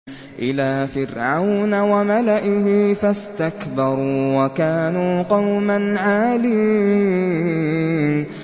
إِلَىٰ فِرْعَوْنَ وَمَلَئِهِ فَاسْتَكْبَرُوا وَكَانُوا قَوْمًا عَالِينَ